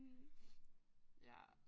Mh ja